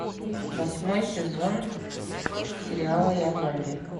восьмой сезон сериала я зомби